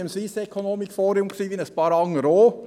Ich war am Swiss Economic Forum, wie ein paar andere auch.